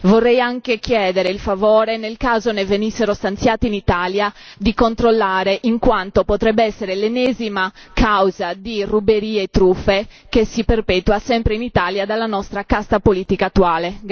Vorrei anche chiedere il favore, nel caso ne venissero stanziati in Italia, di controllare, in quanto potrebbe essere l'ennesima causa di ruberie e truffe che si perpetua sempre in Italia dalla nostra casta politica attuale.